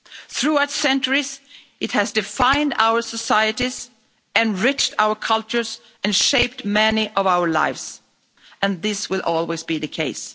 Throughout the centuries, it has defined our societies, enriched our cultures and shaped many of our lives, and this will always be the case.'